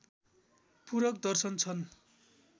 पूरक दर्शन छन्